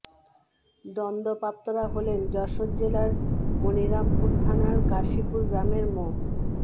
দণ্ডপ্রাপ্তরা হলেন যশোর জেলার মনিরামপুর থানার কাশিপুর গ্রামের মো